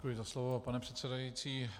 Děkuji za slovo, pane předsedající.